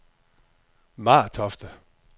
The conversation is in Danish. Martofte